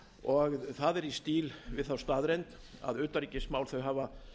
og það er í stíl við þá staðreynd að utanríkismál hafa